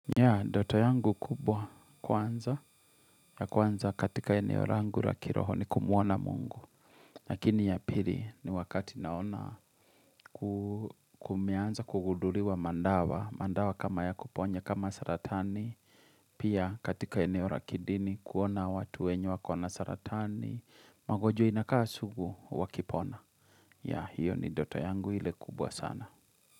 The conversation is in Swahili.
Ya, ndoto yangu kubwa kwanza, ya kwanza katika eneo rangu ra kiroho ni kumuona mungu. Lakini ya pili ni wakati naona ku kumeanza kuguduliwa mandawa, mandawa kama ya kuponya kama saratani. Pia katika eneo ra kidini kuona watu wenye wakona saratani, magonjwa inakaa sugu, wakipona. Ya, hiyo ni ndoto yangu ile kubwa sana.